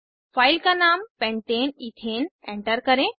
file का नाम pentane ethane enter करें